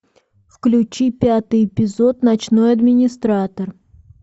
включи пятый эпизод ночной администратор